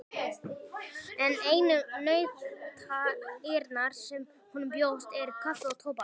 En einu nautnirnar sem honum bjóðast eru kaffi og tóbak.